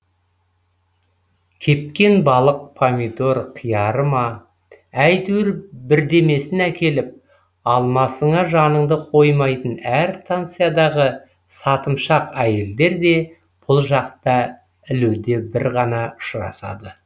кепкен балық помидор қияры ма әйтеуір бірдемесін әкеліп алмасыңа жаныңды қоймайтын әр станциядағы сатымшақ әйелдер де бұл жақта ілуде бір ғана ұшырасады